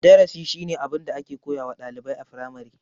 Darasi shine abin da ake koyawa ɗalibai a firamare.